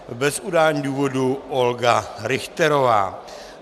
Bez udání důvodu Olga Richterová.